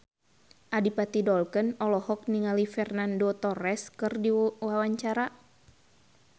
Adipati Dolken olohok ningali Fernando Torres keur diwawancara